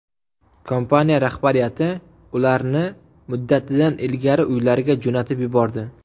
Kompaniya rahbariyati ularni muddatidan ilgari uylariga jo‘natib yubordi.